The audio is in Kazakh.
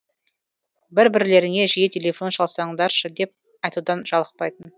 бір бірлеріңе жиі телефон шалсаңдаршы деп айтудан жалықпайтын